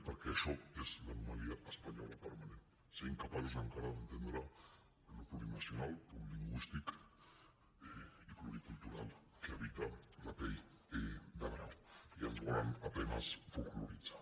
perquè això és l’anomalia espanyola permanent ser incapaços encara d’entendre el plurinacional el plurilingüístic i pluricultural que habita la pell de brau i ens volen a penes folkloritzar